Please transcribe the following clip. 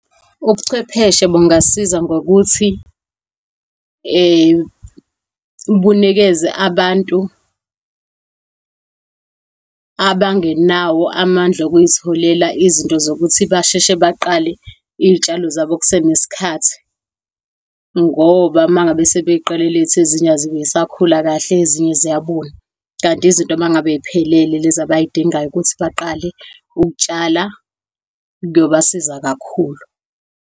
Ubuchwepheshe bungasiza ngokuthi bunikeze abantu abangenawo amandla okuzitholela izinto zokuthi basheshe baqale iy'tshalo zabo kusenesikhathi, ngoba mangabe sebeqale late ezinye azibe zisakhula kahle, ezinye ziyabuna. Kanti izinto uma ngabe ziphelele, lezi abazidingayo ukuthi baqale ukutshala kuyobasiza kakhulu.